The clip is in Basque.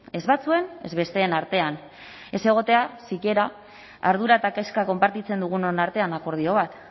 ez batzuen ez besteen artean ez egotea sikiera ardura eta kezka konpartitzen dugunon artean akordio bat